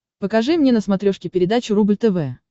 покажи мне на смотрешке передачу рубль тв